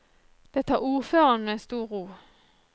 Det tar ordføreren med stor ro.